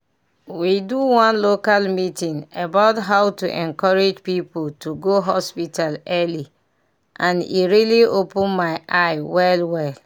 we do one local meeting about how to encourage people to go hospital early and e really open my eye well well.